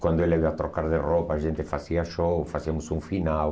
Quando ela ia trocar de roupa, a gente fazia show, fazíamos um final.